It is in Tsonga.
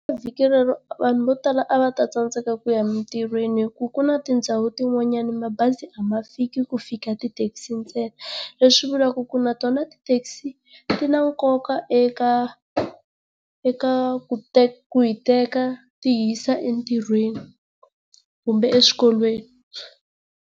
Vhiki rero vanhu vo tala a va ta tsandzeka ku ya emitirhweni hi ku ku na tindhawu tin'wanyana mabazi a ma fiki ku fika tithekisi ntsena, leswi vulaka ku na tona ti taxi ti na nkoka eka eka ku ku hi teka ti hi yisa entirhweni kumbe eswikolweni.